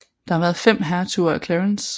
Der har været fem hertuger af Clarence